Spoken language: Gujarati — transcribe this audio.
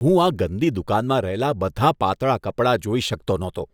હું આ ગંદી દુકાનમાં રહેલા બધાં પાતળા કપડાં જોઈ શકતો નહોતો.